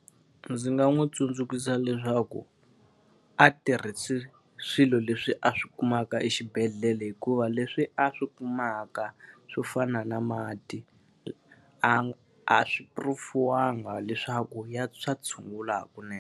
Ndzi nga n'wi tsundzuxa leswaku a tirhise swilo leswi a swi kumaka exibedhlele hikuva leswi a swi kumaka swo fana na mati, a a swi prove-iwanga leswaku swa tshungula hakunene.